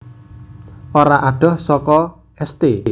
Ora adoh saka St